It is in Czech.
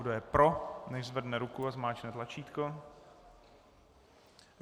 Kdo je pro, nechť zvedne ruku a zmáčkne tlačítko.